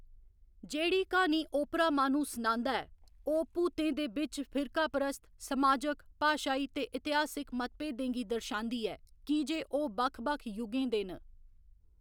जेह्‌‌ड़ी क्हानी ओपरा माह्‌नू सनांदा ऐ ओह्‌‌ भूतें दे बिच्च फिरकापरस्त, समाजक, भाशाई ते इतिहासक मतभेदें गी दर्शांदी ऐ, की जे ओह्‌‌ बक्ख बक्ख युगें दे न।